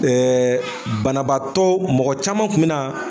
banabaatɔ mɔgɔ caman kun bi na.